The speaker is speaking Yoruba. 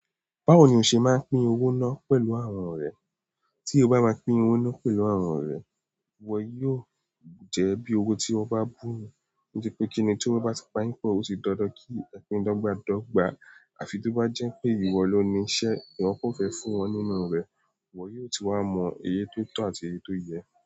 Báwo ni o se maa n pín owo na pẹ̀lú àwọn ọ̀rẹ́ tí o bá ma pín owó náà pẹ̀lú àwọn ọ̀rẹ́, wọn yóò jẹ́ bí owó tí wọ́n bá bu. Nítoripe kínní tí wọ́n bá ti pa yín pò, ó di dandan kí ẹ pín dọ́gba dọ́gba. Àfi tí ó bá jẹ́ pé ìwọ ló ní iṣẹ́, iwọ́ kò fẹ́ fún wọn nínú rẹ̀, iwọ́ yóò ti wá mọ èyí tó tọ̀ àti èyí tó yẹ.